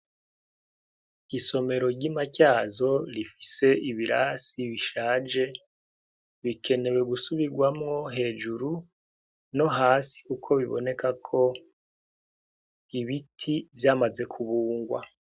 Isomero ry'I Matyazo rifise ibirasi bishaje bikenewe gusubirwamwo hejuru no hasi, uko biboneka ko ibiti vyamaze kubungwa.